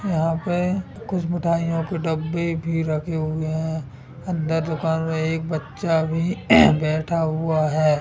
यहां पे कुछ मिठाइयों के डब्बे भी रखे हुए हैं अंदर दुकान मे एक बच्चा भी बैठा हुआ है।